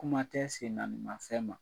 Kuma tɛ sennaaniimafɛn ma.